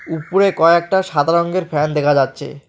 উপরে কয়েকটা সাদা রংয়ের ফ্যান দেখা যাচ্ছে।